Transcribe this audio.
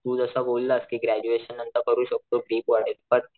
तू जस बोललास कि ग्रॅज्युएशन नंतर करू शकतो वाढेल बट